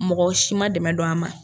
Mɔgɔ si man dɛmɛ don a ma.